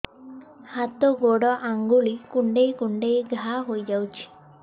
ହାତ ଗୋଡ଼ ଆଂଗୁଳି କୁଂଡେଇ କୁଂଡେଇ ଘାଆ ହୋଇଯାଉଛି